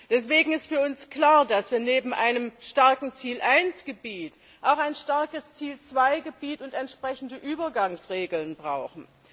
Deswegen ist für uns klar, dass wir neben einem starken Ziel I Gebiet auch ein starkes Ziel II Gebiet und entsprechende Übergangsregeln brauchen.